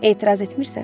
Etiraz etmirsən?